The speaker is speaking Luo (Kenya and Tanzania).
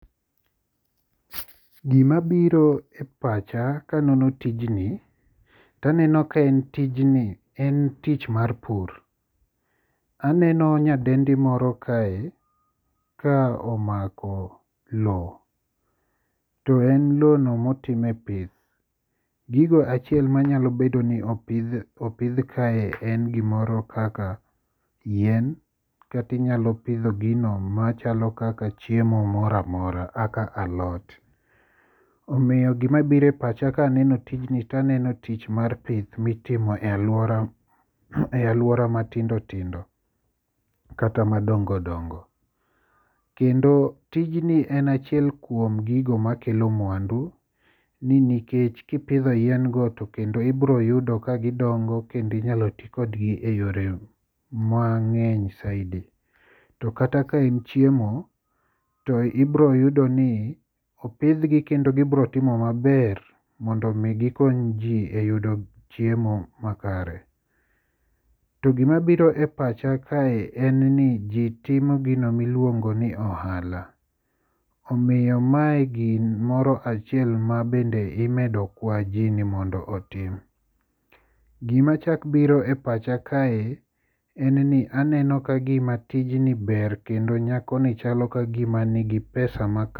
Gima biro e pacha kaneno tijni to aneno ka en tijni en tich mar pur. Aneno nyadendi moro kae ka omako lowo to en lowono motime pith. Gigo achiel ma nyalo bedo ni opidh kae en yien, kata inyalo pidho gino machalo kaka chiemo moro amora omiyo gima biro e pacha aneno tijni en to aneno tich mar pith mitimo e aluora matindo tindo kata madongo dongo. Kendo tijni en achiel kuom gigo makelo mwandu nikech kipidho yien go to kaendo ib iro yudo ka gidongo kendo inyalo i kodgi eyore mang'eny saidi. To kata ka en chiemo to ibiro yudo ni opidhgi kendo gibiro timo maber mondo mi gikony ji e yudo chiemo makare. To gima biro e pacha kae en ni ji timo gino miluongo ni ohala. Omiyo mae gimoro achiel ma bende imedo kwa gini mondo otim. Gima chako biro e pacha kae en ni aneno ka gima tijni ber kendo nyakoni chalo kagima nigi pesa